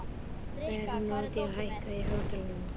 Bernódía, hækkaðu í hátalaranum.